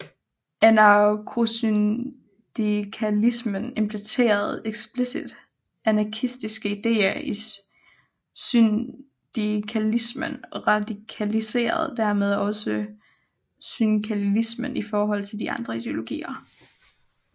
Anarkosyndikalismen implementerer eksplicit anarkistiske idéer i syndikalismen og radikaliserer dermed også syndikalismen i forhold til andre ideologier